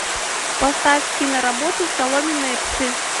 поставь киноработу соломенные псы